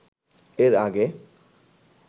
এর আগে